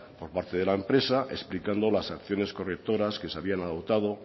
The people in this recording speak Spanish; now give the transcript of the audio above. por parte de la empresa explicando las acciones correctoras que se habían adoptado